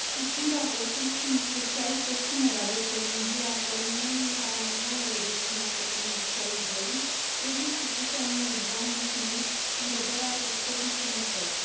Susțin raportul și, în special, propunerea de prelungire a termenului în care animalele destinate comercializării trebuie supuse unui examen clinic în vederea atestării sănătății.